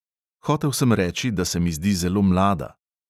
Hotel sem reči, da se mi zdi zelo mlada.